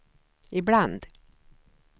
ibland